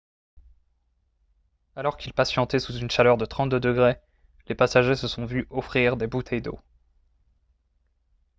alors qu'ils patientaient sous une chaleur de 32 ° c les passagers se sont vu offrir des bouteilles d'eau